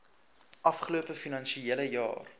afgelope finansiële jaar